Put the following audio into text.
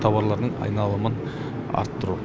тауарлардың айналымын арттыру